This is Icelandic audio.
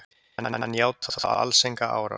Hann játaði þó alls enga árás